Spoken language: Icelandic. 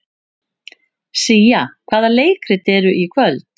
Sía, hvaða leikir eru í kvöld?